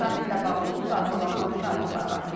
Sammitlə bağlı bu saat olan hansı məlumatlar var?